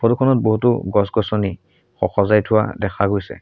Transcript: Photo খনত বহুতো গছ গছনি স-- সজাই থোৱা দেখা গৈছে।